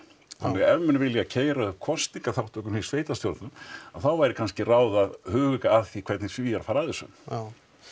þannig að ef menn vilja keyra upp kosningaþátttökuna í sveitarstjórnum þá væri kannski ráð að huga að því hvernig Svíar fara að þessu já